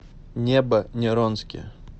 небо неронски